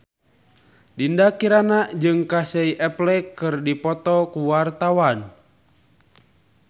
Dinda Kirana jeung Casey Affleck keur dipoto ku wartawan